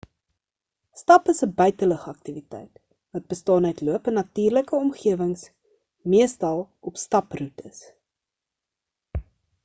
stap is 'n buitelug aktiwiteit wat bestaan uit loop in natuurlike omgewings meestal op staproetes